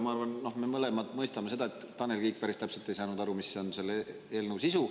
Ma arvan, et me mõlemad mõistame, et Tanel Kiik päris täpselt ei saanud aru, mis on selle eelnõu sisu.